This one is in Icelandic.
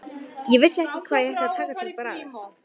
Ég vissi ekki hvað ég ætti að taka til bragðs.